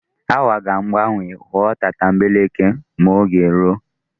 Awa ga-agbanwo ghọọ tatambeleke m'oge ruo.